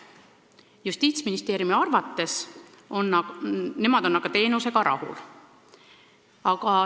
Justiitsministeerium aga on teenusega rahul.